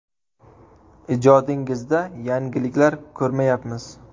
Ijodingizda yangiliklar ko‘rmayapmiz.